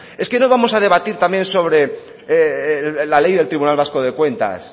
es que no vamos a debatir también sobre la ley del tribunal vasco de cuentas